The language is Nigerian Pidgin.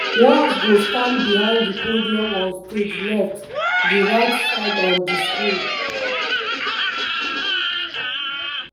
walz go stand behind di podium on stage left - di right side on di screen.